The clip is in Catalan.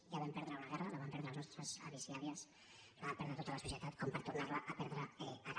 ja vam perdre una guerra la van perdre els nostres avis i àvies la va perdre tota la societat com per tornar la a perdre ara